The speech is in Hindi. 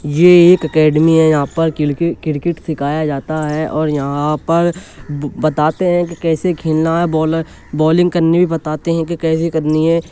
ये एक एकेडमी है। यहां पर किलके क्रिकेट सिखाया जाता है और यहां पर बताते है कि कैसे खेलना है। बॉल बॉलिंग करनी भी बताते है कि कैसे करनी है।